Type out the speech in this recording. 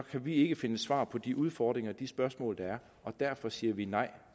vi ikke finde svar på de udfordringer og de spørgsmål der er og derfor siger vi nej